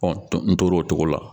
n tor'o cogo la